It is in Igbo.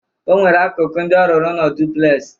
O nwere akụkụ ndị ọ rụrụ ụnọ duplex.